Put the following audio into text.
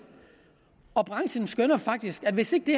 og branchen skønner faktisk at hvis ikke det